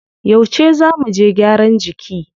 Yauce zá muje gyaran jiki?